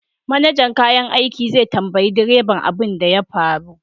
Manajan kayan aiki zai tambayi direba abin da ya faru